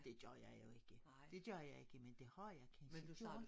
Det gjorde jeg jo ikke det gjorde jeg ikke men det har jeg kanske gjort